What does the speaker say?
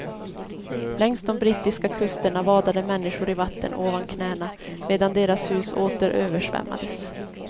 Längs de brittiska kusterna vadade människor i vatten ovan knäna medan deras hus åter översvämmades.